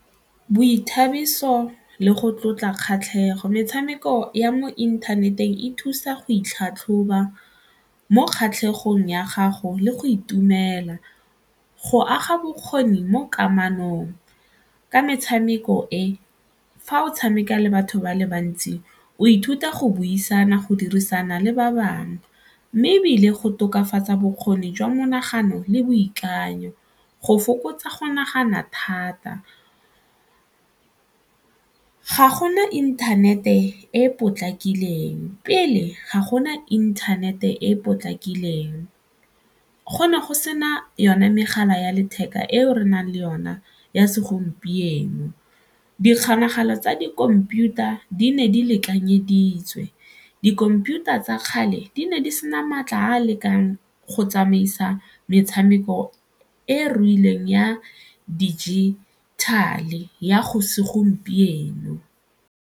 Boithabiso le go tlotla kgatlhego, metshameko ya mo inthaneteng e thusa go itlhatlhoba mo kgatlhegong ya gago le go itumela, go aga bokgoni mo kamanong ka metshameko e fa o tshameka le batho ba le bantsi o ithuta go buisana, go dirisana le ba bangwe mme ebile go tokafatsa bokgoni jwa monagano le boikanyo, go fokotsa go nagana thata. Ga gona internet-e e e potlakileng pele ga gona internet-e e e potlakileng, go ne go sena yone megala ya letheka ao re nang le yona ya segompieno dikgolagano tsa dikhomputara di ne di lekanyeditswe dikhomputara tsa kgale di ne di sena maatla a lekang go tsamaisa metshameko e ruileng ya digital-e ya segompieno.